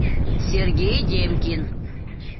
сергей демкин